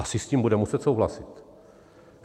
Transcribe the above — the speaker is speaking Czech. Asi s tím budeme muset souhlasit.